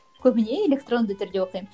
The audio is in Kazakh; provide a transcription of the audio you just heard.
көбіне электронды түрде оқимын